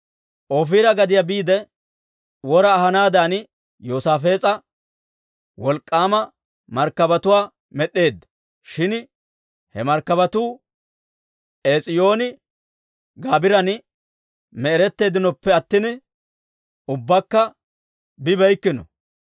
Ofiira gadiyaa biide wora ahanaadan Yoosaafees'e wolk'k'aama markkabatuwaa med'd'eedda; shin he markkabatuu Ees'iyooni-Gaabiran me'eretteeddinoppe attina ubbakka bibeykkino.